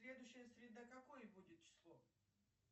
следующая среда какое будет число